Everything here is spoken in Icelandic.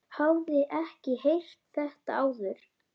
Hafði ekki heyrt þetta áður.